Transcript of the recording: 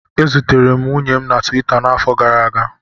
E zutere m nwunye m na Tuwita n'afọ gara aga